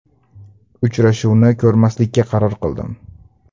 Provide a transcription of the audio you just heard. Uchrashuvni ko‘rmaslikka qaror qildim.